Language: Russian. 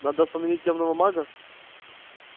надо остановить тёмного мага